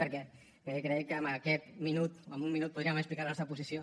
perquè crec que amb aquest minut o amb un minut podríem explicar la nostra posició